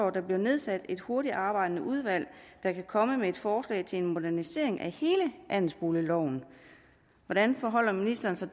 at der bliver nedsat et hurtigtarbejdende udvalg der kan komme med et forslag til en modernisering af hele andelsboligloven hvordan forholder ministeren sig